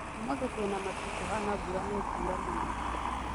Ũmũthĩ kwĩna matu kũhana mbura nĩ ĩkũra mũno